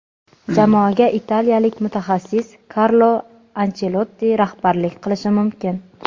jamoaga italiyalik mutaxassis Karlo Anchelotti rahbarlik qilishi mumkin.